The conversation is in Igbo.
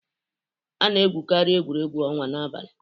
A na-egwukarị egwuregwu ọnwa n'abalị.